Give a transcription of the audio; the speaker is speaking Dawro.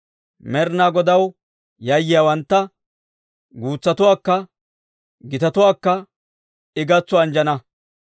Med'inaa Godaw yayyiyaawantta, guutsatuwaakka gitatuwaakka I gatso anjjana.